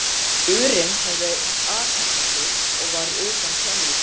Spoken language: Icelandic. urinn hafði athafnað sig var utan sjónlínu.